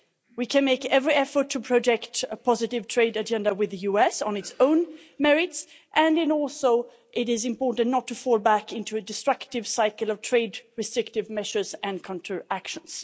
We can make every effort to project a positive trade agenda with the US on its own merits and also it is important not to fall back into a destructive cycle of trade restrictive measures and counter actions.